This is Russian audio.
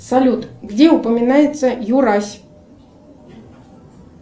салют где упоминается юрась